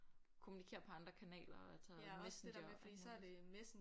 Kommunikerer på andre kanaler og tager Messenger og alt muligt